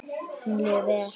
Honum líður vel.